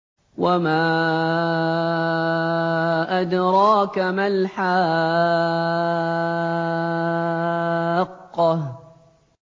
وَمَا أَدْرَاكَ مَا الْحَاقَّةُ